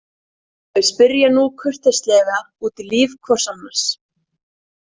Þau spyrja núna kurteislega út í líf hvort annars.